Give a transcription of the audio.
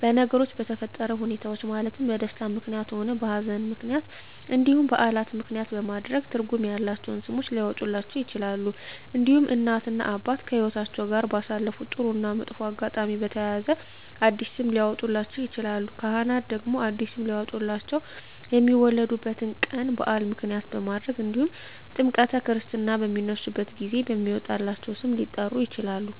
በነገሮች በተፈጠረ ሁኔታዎች ማለትም በደስታም ምክንያትም ሆነ በሀዘንም ምክንያት እንዲሁም በዓላትን ምክንያትም በማድረግ ትርጉም ያላቸው ስሞች ሊያወጡላቸው ይችላሉ። እንዲሁም እናት እና አባት ከህይወትአቸው ጋር ባሳለፉት ጥሩ እና መጥፎ አጋጣሚ በተያያዘ አዲስ ስም ሊያወጡላቸው ይችላሉ። ካህናት ደግሞ አዲስ ስም ሊያወጡላቸው የሚወለዱበት ቀን በዓል ምክንያት በማድረግ እንዲሁም ጥምረተ ክርስትና በሚነሱበት ጊዜ በሚወጣላቸው ስም ሊጠሩ ይችላሉ።